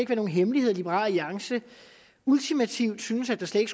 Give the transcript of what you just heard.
være nogen hemmelighed at liberal alliance ultimativt synes at der slet